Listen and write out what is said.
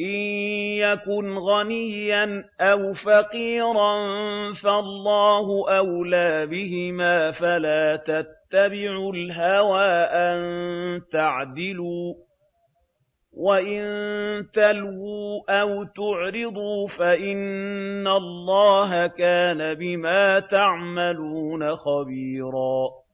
إِن يَكُنْ غَنِيًّا أَوْ فَقِيرًا فَاللَّهُ أَوْلَىٰ بِهِمَا ۖ فَلَا تَتَّبِعُوا الْهَوَىٰ أَن تَعْدِلُوا ۚ وَإِن تَلْوُوا أَوْ تُعْرِضُوا فَإِنَّ اللَّهَ كَانَ بِمَا تَعْمَلُونَ خَبِيرًا